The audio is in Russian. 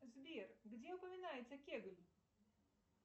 сбер где упоминается кегль